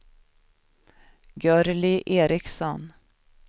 Gurli Ericson